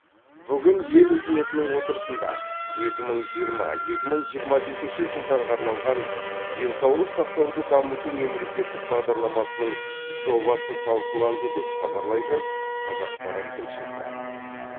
бүгін ел үкіметінің отырысында екі мың жиырма екі мың жиырма бесінші жылдарға арналған денсаулық сақтауды дамыту мемлекеттік бағдарламасының жобасы талқыланды деп хабарлайды қазақпарат тілшісі